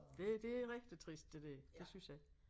Det det rigtig trist det der det synes jeg